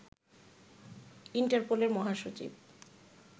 ইন্টারপোলের মহাসচিব